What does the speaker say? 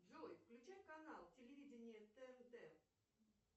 джой включай канал телевиденья тнт